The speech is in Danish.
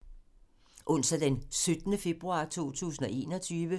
Onsdag d. 17. februar 2021